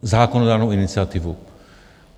Zákonodárnou iniciativu.